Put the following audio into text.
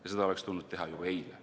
Ja seda oleks tulnud teha juba eile.